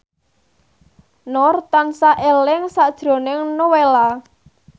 Nur tansah eling sakjroning Nowela